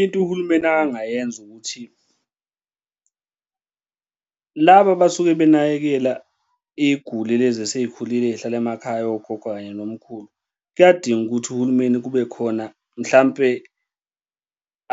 Into uhulumeni akangayenza ukuthi laba abasuke benakekela iy'guli lezi esey'khulile ey'hlala emakhaya, ogogo kanye nomkhulu. Kuyadinga ukuthi uhulumeni kube khona mhlampe